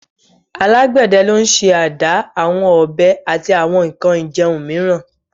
Alagbẹdẹ lo n ṣe ada, awọn ọbẹ ati awọn gige irin miiran